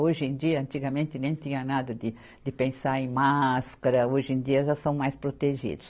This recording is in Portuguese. Hoje em dia, antigamente nem tinha nada de de pensar em máscara, hoje em dia já são mais protegidos.